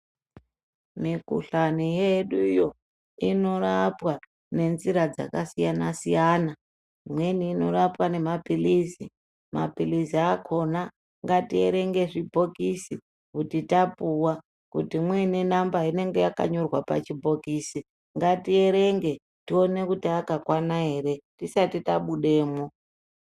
Mikuhlani yeduyo inorapwa nenzira dzakasiyana siyana, imweni inorapwa nemapilizi, mapilizi akhona ngatierenge zvibhokisi kuti tapuwa kuti muine namba inenge yakanyorwa pachibhokisi, ngatierenge tione akakwana ere tisati tabudemwo.